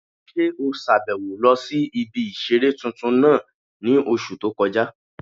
Ṣé o sàbẹ̀wo lọ sí ibi ìseré tuntun náà ní oṣù tó kọjá?